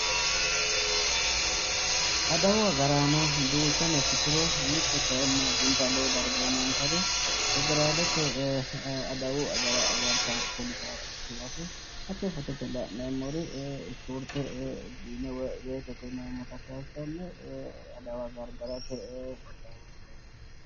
Adawu agaraano duuchano ikkituro mitte kayinni addinta lowo darga uyinayinsari federaalete adawa agartawo poliseeti yaate. Hatto fotote la'neemmori ispoorte jiime woyitete yineemmota kayissanni adawa gargarate qixxaawo assitayi no.